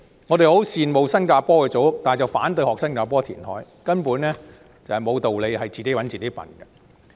我們十分羨慕新加坡的組屋，但卻反對學習當地填海，根本毫無道理，是自討苦吃。